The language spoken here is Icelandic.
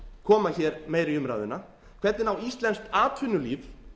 koma hér meira í umræðuna hvernig á íslenskt atvinnulíf